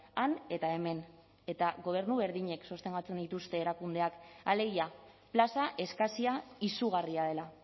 han eta hemen eta gobernu berdinek sostengatzen dituzte erakundeak alegia plaza eskasia izugarria dela